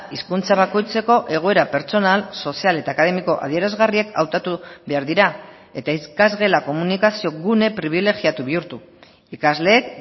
hizkuntza bakoitzeko egoera pertsonal sozial eta akademiko adierazgarriek hautatu behar dira eta ikasgela komunikazio gune pribilegiatu bihurtu ikasleek